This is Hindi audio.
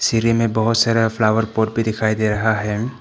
सीढ़ी मे बहुत सारा फ्लावर पॉट भी दिखाई दे रहा है।